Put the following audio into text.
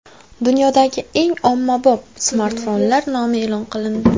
Dunyodagi eng ommabop smartfonlar nomi e’lon qilindi.